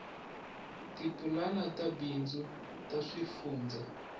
tipulani ta bindzu ta swifundzha